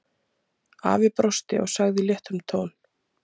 Afi brosti og sagði í léttum tón